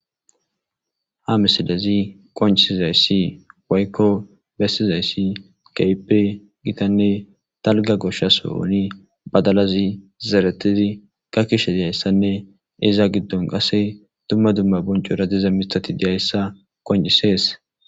ha misilezi qoncizayssi waykko bessizayssi keype gitanne talga goshshas ohuni badalazi zeretizi ka kishe diyayssanne iza giddon qase dumma dumma boncu radiza mitati diyayssa qoncisees